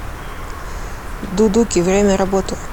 дудуки время работы